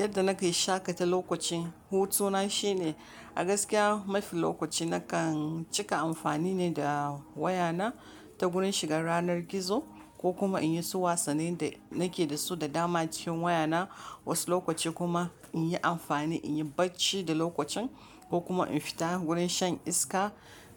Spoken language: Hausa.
Yadda na ke shaƙata lokaci, hutu na shine. A gaskiya mafi lokaci na kan cika amfani ne da waya na ta wurin shiga yanar gizo ko kuma in yi su wasannin da na ke da su da dama acikin waya na. Wasu lokaci kuma in yi amfani, in yi bacci da lokacin ko kuma in fita wurin shan iska,